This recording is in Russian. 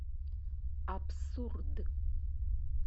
абсурд